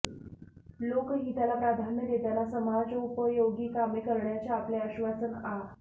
लोकहिताला प्राधान्य देताना समाजोपयोगी कामे करण्याचे आपले आश्वासन आ